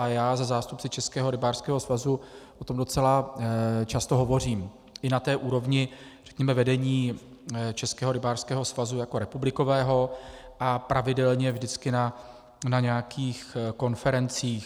A já se zástupci Českého rybářského svazu o tom docela často hovořím, i na té úrovni řekněme vedení Českého rybářského svazu jako republikového a pravidelně vždycky na nějakých konferencích.